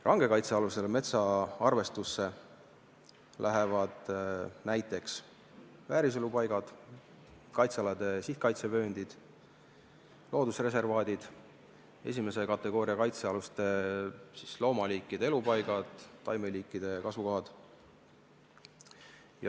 Rangelt kaitstavate metsade hulka arvestatakse näiteks vääriselupaigad, kaitsealade sihtkaitsevööndid, loodusreservaadid ning esimese kategooria kaitsealuste loomaliikide elupaigad ja taimeliikide kasvukohad.